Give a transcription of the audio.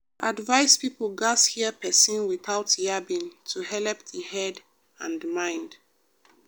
advice people gats hear persin without yabbing to helep the head and mind.